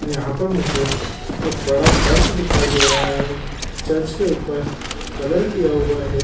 यहाँ पर मुझे एक बड़ा चर्च दिखाई दे रहा है चर्च के ऊपर कलर किया हुआ है।